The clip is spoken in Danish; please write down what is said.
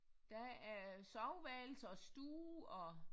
Der er soveværelse og stue og